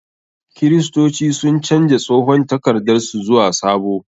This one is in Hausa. Kiristoci sun canja tsohon takardar su zuwa sabo.